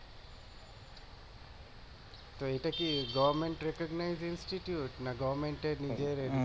তো এটা কি না নিজের